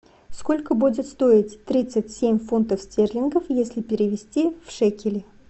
сколько будет стоить тридцать семь фунтов стерлингов если перевести в шекели